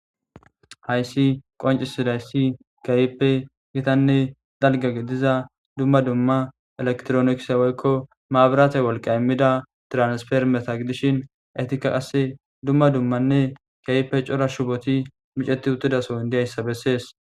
Haysi qoncisizausi kehipe gitane dalga gidida duma duma electronicse woyko maburate wolqa woyko tranisformeta gidishin etika qase duma dumane kehipe cora shuboti miceti utidason dizaysa beses